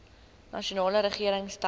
nasionale regering stel